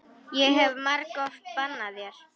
Ég hef margoft bannað þér.